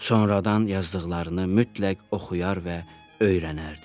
Sonradan yazdıqlarını mütləq oxuyar və öyrənərdi.